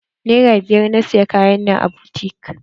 Nera biyar na siyi Kayan nan a butik.